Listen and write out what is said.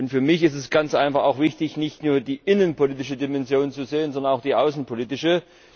Für mich ist es ganz einfach auch wichtig, nicht nur die innenpolitische Dimension zu sehen, sondern auch die außenpolitische.